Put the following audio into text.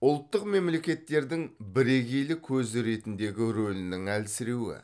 ұлттық мемлекеттердің бірегейлік көзі ретіндегі рөлінің әлсіреуі